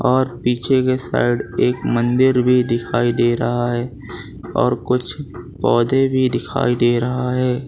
और पीछे के साइड एक मंदिर भी दिखाई दे रहा है और कुछ पौधे भी दिखाई दे रहा है।